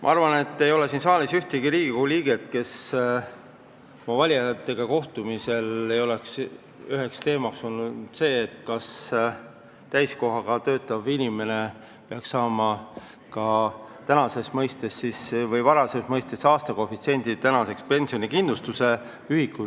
Ma arvan, et siin saalis ei ole ühtegi Riigikogu liiget, kellel valijatega kohtudes ei oleks üheks teemaks olnud täiskohaga töötava inimese varasemas mõistes aastakoefitsient, tänases mõistes pensionikindlustusosak.